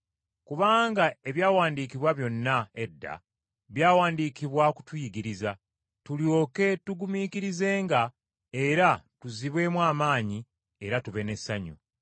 Kubanga ebyawandiikibwa byonna edda, byawandiikibwa kutuyigiriza, tulyoke tugumiikirizenga era tuzzibwemu amaanyi, ate tube n’essuubi.